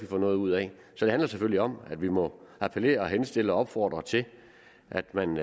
får noget ud af så det handler selvfølgelig om at vi må appellere og henstille og opfordre til at man